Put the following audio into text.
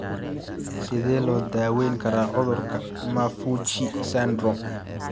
Sidee loo daweyn karaa cudurka 'Maffucci syndrome'?